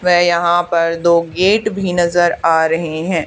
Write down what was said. वे यहां पर दो गेट भी नजर आ रहे हैं।